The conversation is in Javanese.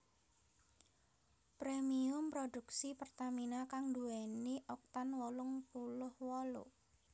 Premium produksi Pertamina kang nduwèni Oktan wolung puluh wolu